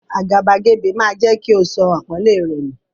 Àgàbàgebè máa jẹ́ kí o sọ àpọ́nlé rẹ nù.